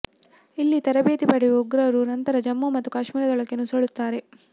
ಇಲ್ಲಿ ತರಬೇತಿ ಪಡೆಯುವ ಉಗ್ರರು ನಂತರ ಜಮ್ಮು ಮತ್ತು ಕಾಶ್ಮೀರದೊಳಕ್ಕೆ ನುಸುಳುತ್ತಾರೆ